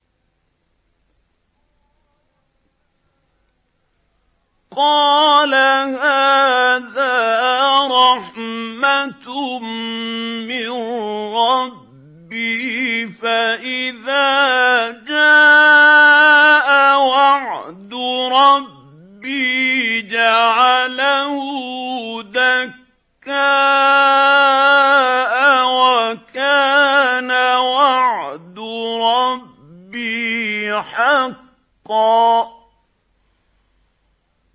قَالَ هَٰذَا رَحْمَةٌ مِّن رَّبِّي ۖ فَإِذَا جَاءَ وَعْدُ رَبِّي جَعَلَهُ دَكَّاءَ ۖ وَكَانَ وَعْدُ رَبِّي حَقًّا